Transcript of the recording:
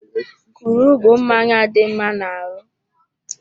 Kunu bụ mmanya dị mma n'ahụ